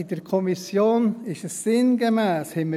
In der Kommission hatten wir diese sinngemäss nicht.